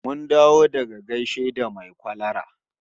Mun dawo daga gaishe da mai kwalara